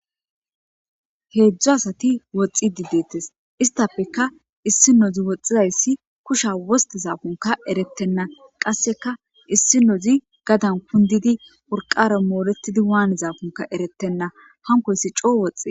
Heedzdzo asati woxxi dideetes istafeka issi nozi woxxizayssi kusha woste zaafunka erettenna qasseka issi nozi gadan kundidi urqara mooretidi waane zaafunka erettenna hankoyssi coo woxxe.